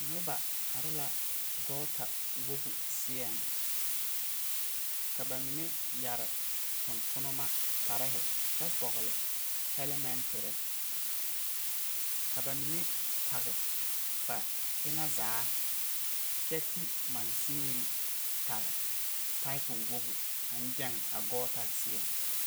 Nuba arẽ la gota wogi seɛ ka ba mene yari tungtumba kpari kye vɔgle helmentiri ka ba mene pag ba enga zaa kye ti machine tare pipu wogu ang jeng a guta seɛ.